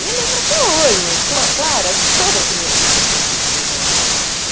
E eu lembro até hoje, claro, acho que toda criança já fez isso, né?